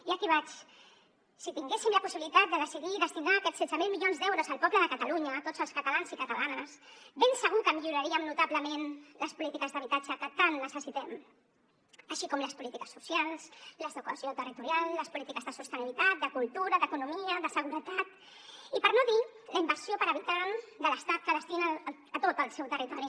i aquí vaig si tinguéssim la possibilitat de decidir i destinar aquests setze mil milions d’euros al poble de catalunya a tots els catalans i catalanes ben segur que millorarien notablement les polítiques d’habitatge que tant necessitem així com les polítiques socials les de cohesió territorial les polítiques de sostenibilitat de cultura d’economia de seguretat i per no dir la inversió per habitant de l’estat que destina a tot el seu territori